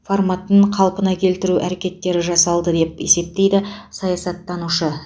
форматын қалпына келтіру әрекеттері жасалды деп есептейді саясаттанушы